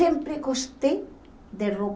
Sempre gostei de roupa.